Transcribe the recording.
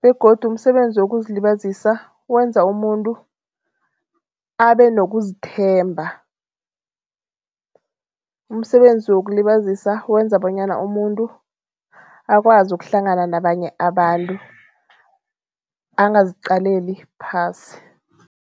begodu umsebenzi wokuzilibazisa wenza umuntu abe nokuzithemba. Umsebenzi wokuzilibazisa wenza bonyana umuntu akwazi ukuhlangana nabanye abantu angaziqaleli phasi.